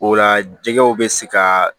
O la jɛgɛw bɛ se ka